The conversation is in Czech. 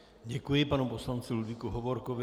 Děkuji panu poslanci Ludvíku Hovorkovi.